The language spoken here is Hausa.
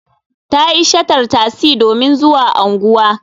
Ta yi shatar tasi domin zuwa unguwa.